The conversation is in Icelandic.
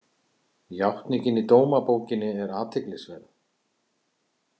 Játningin í dómabókinni er athyglisverð.